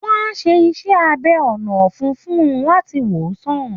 Wọ́n á ṣe iṣẹ́ abẹ ọ̀nà ọ̀fun fún un láti wòsàn